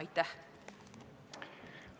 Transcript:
Aitäh!